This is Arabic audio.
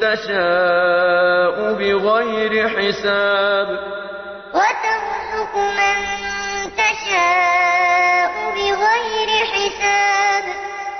تَشَاءُ بِغَيْرِ حِسَابٍ تُولِجُ اللَّيْلَ فِي النَّهَارِ وَتُولِجُ النَّهَارَ فِي اللَّيْلِ ۖ وَتُخْرِجُ الْحَيَّ مِنَ الْمَيِّتِ وَتُخْرِجُ الْمَيِّتَ مِنَ الْحَيِّ ۖ وَتَرْزُقُ مَن تَشَاءُ بِغَيْرِ حِسَابٍ